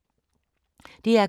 DR K